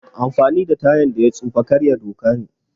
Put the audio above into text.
Amfani da tayan da ya tsufa karya doka ne